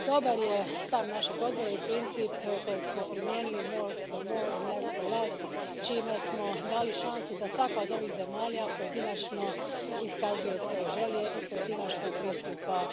Dobar je stav našeg Odbora i princip kojeg smo primijenili more for more and less for less, čime smo dali šansu da svaka od ovih zemalja pojedinačno iskazuje svoje želje i pojedinačno pristupa